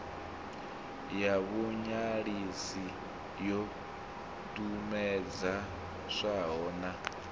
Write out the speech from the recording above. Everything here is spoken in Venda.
ya vhuṅwalisi yo ṱumetshedzwaho na